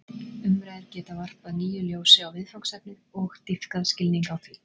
Umræður geta varpað nýju ljósi á viðfangsefnið og dýpkað skilning á því.